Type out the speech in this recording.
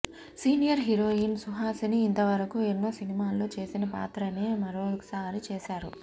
senior heroine Suhasini ఇంతవరకు ఎన్నో సినిమాల్లో చేసిన పాత్రనే మరొకసారి చేసారు